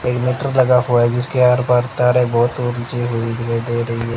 एक मीटर लगा हुआ है जिसके आर पार तारें बहोत ऊंची हुई दिखाई दे रही--